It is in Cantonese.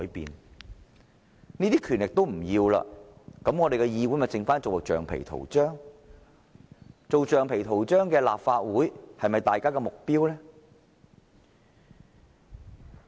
如果連這些權力也不要，那麼立法會便只能淪為橡皮圖章，一個只能做橡皮圖章的立法會是否大家的目標？